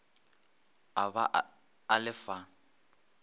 a ba a le fa